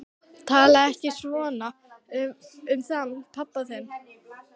Talaðu ekki svona um hann pabba þinn.